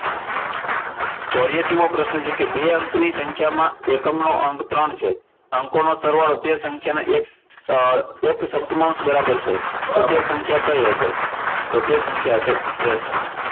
ચોર્યાશી મો પ્રશ્ન છે કે બે અંકની સંખ્યામાં એકમનો અંક ત્રણ છે અંકોનો સરવાળો તે સંખ્યાના એક સપ્તમાંશ બરાબર છે તો તે સંખ્યા કઇ હશે? તો તે સંખ્યા હશે ત્રેસઠ.